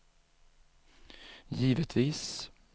givetvis